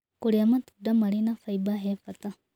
Kũrĩa matũnda marĩ na faĩba he bata